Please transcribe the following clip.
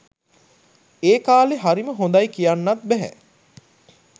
ඒ කාලේ හරිම හොඳයි කියන්නත් බැහැ.